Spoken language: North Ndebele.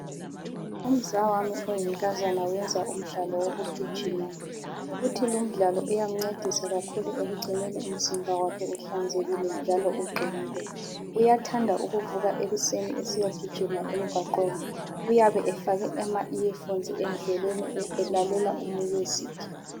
Umzawami oyinkazana uyenza umdlalo wokugijima futhi lumdlalo uyamncedisa kakhulu ekugcineni umzimba wakhe uhlanzekile njalo uqinile. Uyathanda ukuvuka ekuseni esiyagijima emgwaqweni. Uyabe efake ama"ear phones" endleleni elalela u"music".